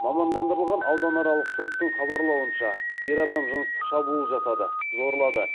мамандандырылған ауданаралық соттың хабарлауынша ер адам жыныстық шабуыл жасады зорлады